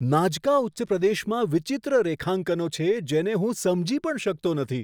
Nazca ઉચ્ચપ્રદેશમાં વિચિત્ર રેખાંકનો છે, જેને હું સમજી પણ શકતો નથી!